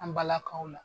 An balakaw la